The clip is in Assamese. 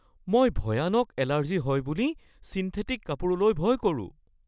মই ভয়ানক এলাৰ্জি হয় বুলি ছিণ্ঠেটিক কাপোৰলৈ ভয় কৰোঁ।